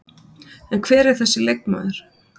En hver er þessi leikmaður?